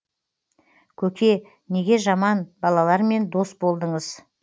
көке неге жаман балалармен дос болдыңыз